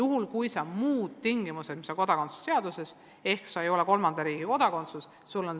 Kodakondsuse seaduses on tingimus, et sa ei tohi olla kolmanda riigi kodakondsuses.